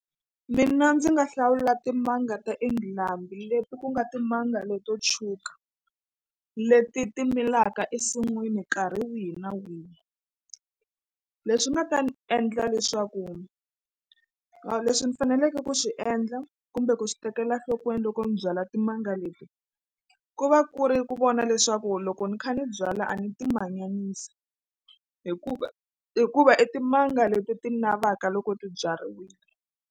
Mina ndzi nga hlawula timanga ta England leti ku nga timanga leto tshuka leti ti milaka ensinwini nkarhi wihi na wihi. Leswi nga ta ni endla leswaku leswi ni faneleke ku swi endla kumbe ku swi tekela nhlokweni loko ni byala timanga leti ku va ku ri ku vona leswaku loko ni kha ni byala a ni ti manyanisi hikuva hikuva i timanga leti ti navaka loko ti byariwile.